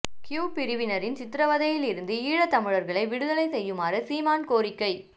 Q பிரிவினரின் சித்திரவதையில் இருந்து ஈழத் தமிழர்களை விடுதலை செய்யுமாறு சீமான் கோரிக்கை